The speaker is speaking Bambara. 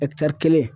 kelen